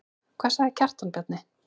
Hvað sagði Kjartan Bjarni?